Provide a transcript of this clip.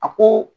A ko